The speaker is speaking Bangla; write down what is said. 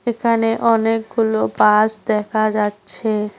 এখানে অনেকগুলো বাস দেখা যাচ্ছে।